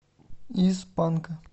из панка